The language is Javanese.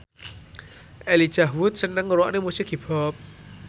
Elijah Wood seneng ngrungokne musik hip hop